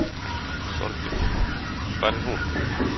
Þorbjörn: Hvar er hún?